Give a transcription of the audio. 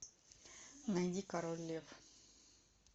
найди король лев